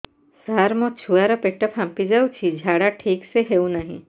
ସାର ମୋ ଛୁଆ ର ପେଟ ଫାମ୍ପି ଯାଉଛି ଝାଡା ଠିକ ସେ ହେଉନାହିଁ